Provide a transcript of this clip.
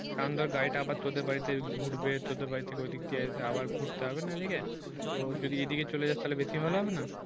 কারণ ধর গাড়িটা আবার তোদের বাড়িতে ঘুরবে তোদের বাড়ি থেকে ওইদিক এসে আবার ঘুরতে হবে না এদিকে তো যদি এদিকে চলে যাস তাহলে বেশি ভালো হবে না।